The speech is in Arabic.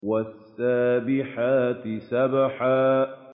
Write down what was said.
وَالسَّابِحَاتِ سَبْحًا